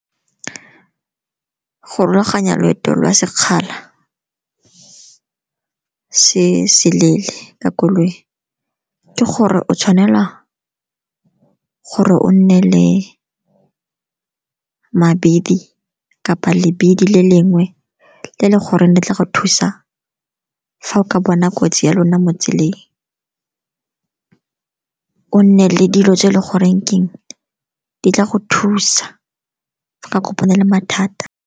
Go rulaganya loeto la sekgala se se leele ka koloi ke gore o tshwanela gore o nne le mabidi kapa lebidi le lengwe, le leng gore di tla go thusa fa o ka bona kotsi ya lona mo tseleng. O nne le dilo tse e le goreng keng di tla go thusa ka kopana le mathata.